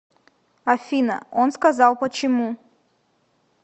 афина он сказал почему